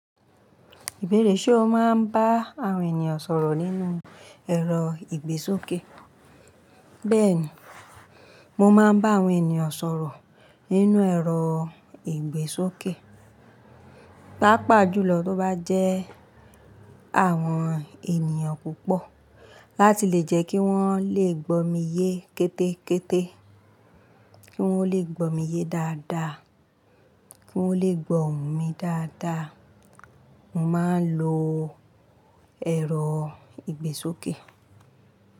Ìbéèrè ṣe o máa ń bá àwọn ènìyàn sọ̀rọ̀ nínú ẹ̀rọ ìgbésókè? Bẹ́ẹ̀ni, mo máa ń bá àwọn ènìyàn sọ̀rọ̀ nínú ẹ̀rọ ìgbésókè. Pápá jùlọ bo bá jẹ́ àwọn ènìyàn púpọ̀ láti lè jẹ́ kí wọ́n lè gbó mi yé kétékété, kí wọ́n lè gbó mi yé dáadáa, kí wọ́n lè gbọ́ mi dáadáa, mo máa ń lo ẹ̀rọ ìgbésókè.